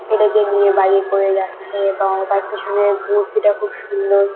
ছেলেকে নিয়ে বাইক -এ করে যাচ্ছে এবং তার পেছনের মূর্তিটা খুব সুন্দর।